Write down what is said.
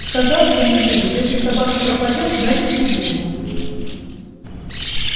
сказал что не буду если собака пропадёт значит не буду